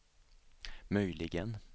möjligen